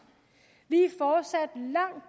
vi er fortsat langt